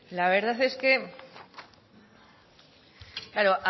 la verdad es que claro